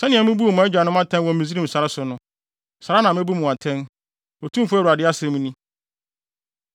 Sɛnea mibuu mo agyanom atɛn wɔ Misraim sare so no, saa ara na mebu mo atɛn, Otumfo Awurade asɛm ni.